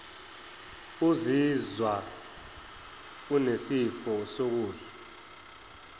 uzizwa unesifiso sokudla